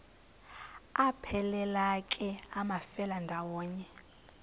aphelela ke amafelandawonye